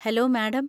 Hello madam.